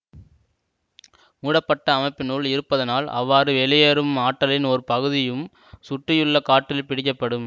மூடப்பட்ட அமைப்பினுள் இருப்பதனால் அவ்வாறு வெளியேறும் ஆற்றலின் ஒரு பகுதியும் சுற்றியுள்ள காற்றில் பிடிக்கப்படும்